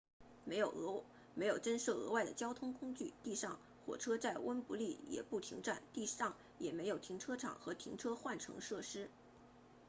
没有增设额外的交通工具地上火车在温布利 wembley 也不停站地上也没有停车场和停车换乘设施